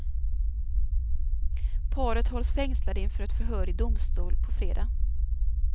Paret hålls fängslade inför ett förhör i domstol på fredag.